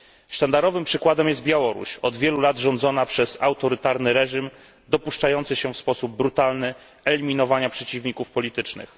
Sztandarowym przykładem jest Białoruś od wielu lat rządzona przez autorytarny reżim dopuszczający się w sposób brutalny eliminowania przeciwników politycznych.